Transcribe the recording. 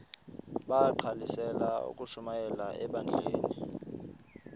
bagqalisele ukushumayela ebandleni